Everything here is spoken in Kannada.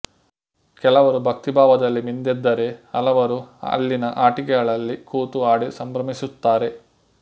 ಕೆಲವರು ಭಕ್ತಿಭಾವದಲ್ಲಿ ಮಿಂದೆದ್ದರೆ ಹಲವರು ಅಲ್ಲಿನ ಆಟಿಕೆಗಳಲ್ಲಿ ಕೂತು ಆಡಿ ಸಂಭ್ರಮಿಸುತ್ತಾರೆ